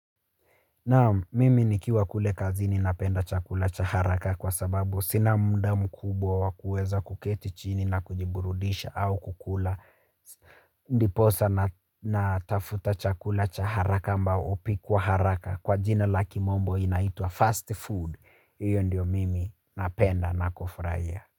Naam mimi nikiwa kule kazini napenda chakula cha haraka kwa sababu sina muda mkubwa wa kuweza kuketi chini na kujiburudisha au kukula. Ndiposa natafuta chakula cha haraka ambao hupikwa haraka kwa jina la kimombo inaitwa fast food. Iyo ndio mimi napenda na kufurahia.